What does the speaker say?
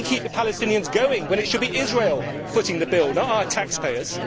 We keep the Palestinians going when it should be Israel footing the bill, not our taxpayers.